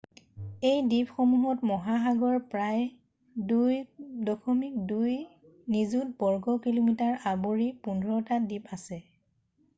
এই দ্বীপসমূহত মহাসাগৰৰ প্ৰায় 2.2 নিযুত বৰ্গ কিলোমিটাৰ আৱৰি 15টা দ্বীপ আছে